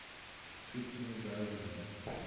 fictional belgians